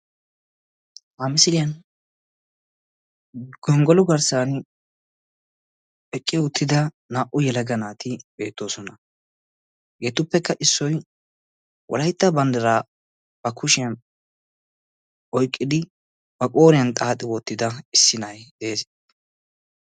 Ha misiliyan gonggolo garssan eqqi uttida naa"u yelaga naati beettoosona. Hegeetuppekka issoy wolaytta banddiraa ba kushiyan oyqqidi ba qooriyan xaaxi wottida issi na'ay beettees.